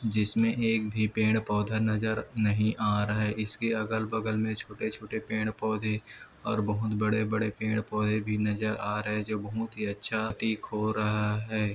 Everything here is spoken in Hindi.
जिसमे एक भी पेड़ पौधा नजर नहीं आ रहा है इसके अगल-बगल में छोटे छोटे पेड़ पौधे और बहुत बड़े बड़े पेड़ पौधे भी नजर आ रहे है जो बहुत ही अच्छा प्रतिक हो रहा है।